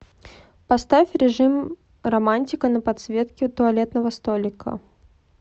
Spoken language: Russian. поставь режим романтика на подсветке туалетного столика